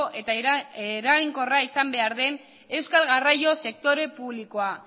eta eraginkorra izan behar den euskal garraio sektore publikoa